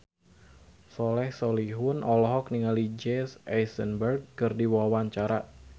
Soleh Solihun olohok ningali Jesse Eisenberg keur diwawancara